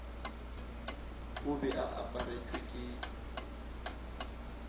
o be a aparetšwe ke